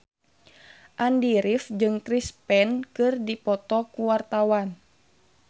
Andy rif jeung Chris Pane keur dipoto ku wartawan